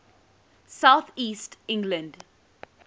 south east england